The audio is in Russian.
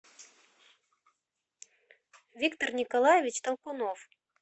виктор николаевич толкунов